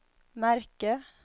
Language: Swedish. märke